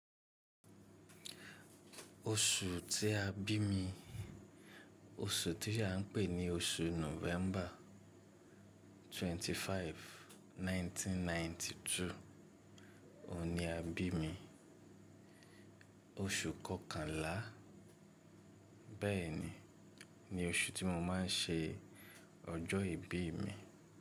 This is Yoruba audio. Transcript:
Oṣù tí a bí mi, oṣù tí a ń pè ní oṣù November 25, 1992, òun ni a bí mi, oṣù kọ́kànlá bẹ́ẹ̀ni ni oṣù tí mo máa ń ṣe ọjọ́ ìbí mi.